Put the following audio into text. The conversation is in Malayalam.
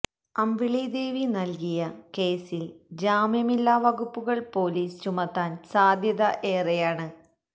അമ്പിളി ദേവി നൽകിയ കേസിൽ ജാമ്യമില്ലാ വകുപ്പുകൾ പൊലീസ് ചുമത്താൻ സാധ്യത ഏറെയാണ്